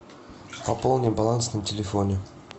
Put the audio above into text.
пополни баланс на телефоне